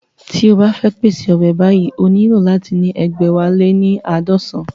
Tí o bá fẹ́ pèṣè ọbẹ̀ báyìí ó nílò láti ní egbẹ̀wáléníaadọsan